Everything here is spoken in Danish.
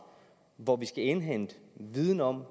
hvor vi skal indhente viden om